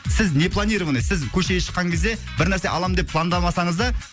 сіз не планированный сіз көшеге шыққан кезде бір нәрсе аламын деп пландамасаңыз да